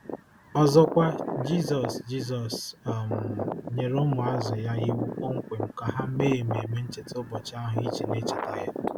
Ọzọkwa, Jizọs Jizọs um nyere ụmụazụ ya iwu kpọmkwem ka ha mee ememe ncheta ụbọchị ahụ iji na-echeta ya.